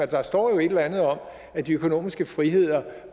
der står jo et eller andet om at de økonomiske friheder